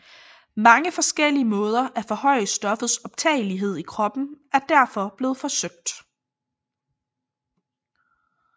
Mange forskellige måder at forhøje stoffets optagelighed i kroppen er derfor blevet forsøgt